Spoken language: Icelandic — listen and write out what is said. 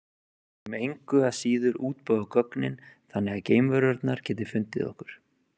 Við viljum engu að síður útbúa gögnin þannig að geimverurnar geti fundið okkur.